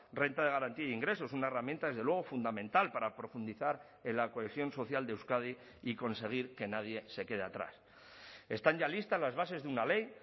renta de garantía de ingresos una herramienta desde luego fundamental para profundizar en la cohesión social de euskadi y conseguir que nadie se quede atrás están ya listas las bases de una ley